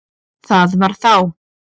Það var þá!